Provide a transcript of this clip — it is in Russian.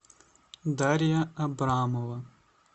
дарья абрамова